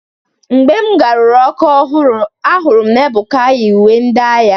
Mgbe ngaruru Ọka ahụrụ m na Ebuka yi uwe ndị agha.